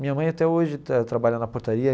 Minha mãe até hoje trabalha na portaria.